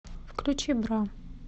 включи бра